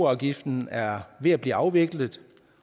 afgiften er ved at blive afviklet